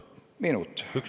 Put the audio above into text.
Üks minut lisaks.